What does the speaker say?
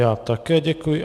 Já také děkuji.